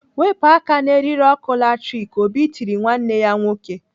"Wepụ aka n'eriri ọkụ latrik!" Obi tiri nwanne ya nwoke.